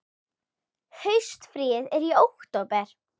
Haustfríið er í október.